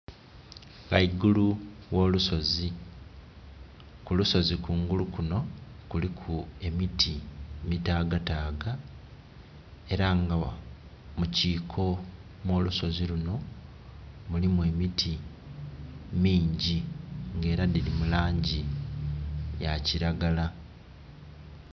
Ghaigulu gho lusozi, ku lusozi kungulu kuno kuliku emiti mitaga taga era nga mu kiko mwo lusozi luno mulimu emiti mingi nga era dhiri mu langi ya kiragala.